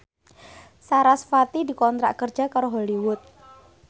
sarasvati dikontrak kerja karo Hollywood